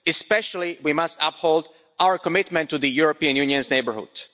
In particular, we must uphold our commitment to the European Union's neighbourhood.